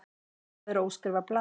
Að vera óskrifað blað